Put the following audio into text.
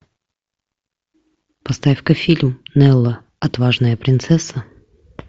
поставь ка фильм нелла отважная принцесса